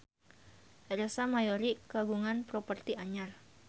Ersa Mayori kagungan properti anyar